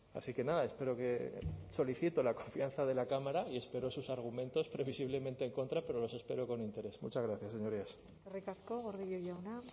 así que nada espero que solicito la confianza de la cámara y espero sus argumentos previsiblemente en contra pero los espero con interés muchas gracias señorías eskerrik asko gordillo jauna